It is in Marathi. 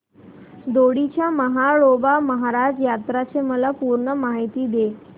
दोडी च्या म्हाळोबा महाराज यात्रेची मला पूर्ण माहिती दे